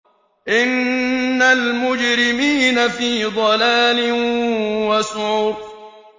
إِنَّ الْمُجْرِمِينَ فِي ضَلَالٍ وَسُعُرٍ